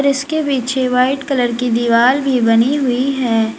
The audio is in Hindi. इसके पीछे वाइट कलर की दीवार भी बनी हुई है।